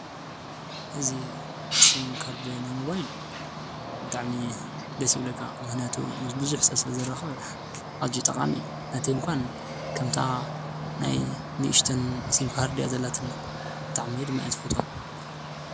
እዝ ሲምካርድ ናይ ሞባይል ብጥዕሚ ደሲብለካ ምኅነቱ ምስ ብዙኅተብ ስለ ዘራኽብሐ ኣዚ ጠቓም እዩ ነቲ እምኳን ከምታ ናይ ንእሽትን ሲምካርድ ያዘላትንእ ብጥዕሚድ መእት ፍቶት።